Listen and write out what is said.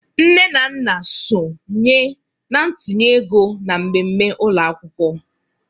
Nne na nna sonye na ntinye ego na mmemme ụlọ akwụkwọ.